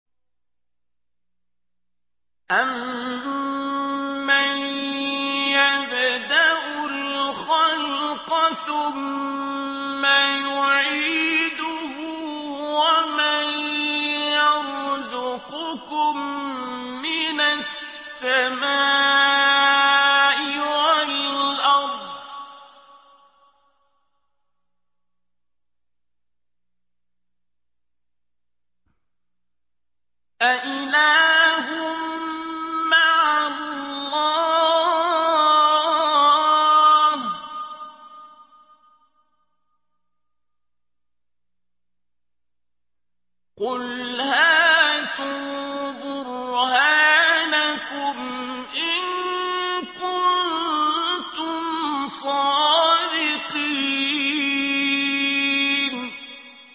أَمَّن يَبْدَأُ الْخَلْقَ ثُمَّ يُعِيدُهُ وَمَن يَرْزُقُكُم مِّنَ السَّمَاءِ وَالْأَرْضِ ۗ أَإِلَٰهٌ مَّعَ اللَّهِ ۚ قُلْ هَاتُوا بُرْهَانَكُمْ إِن كُنتُمْ صَادِقِينَ